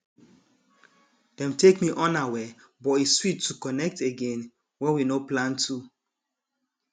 dem take me unaware but e sweet to connect again wen we nor plan to